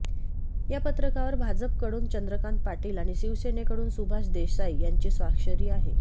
या पत्रकावर भाजप कडून चंद्रकांत पाटील आणि शिवसेनेकडून सुभाष देसाई यांची स्वाक्षरी आहे